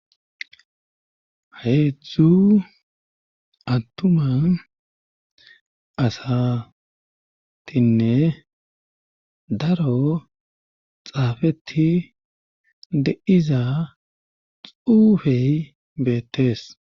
Heedzdzu attuma asatinne daro xaafeti deiza xuufey beettees.